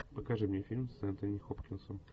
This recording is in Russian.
покажи мне фильм с энтони хопкинсом